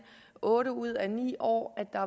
otte ud af ni år